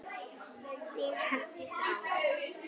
Þín Herdís Rós.